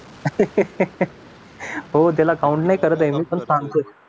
हो त्याला काउंट नाही करत ये मी सांगतोय तुला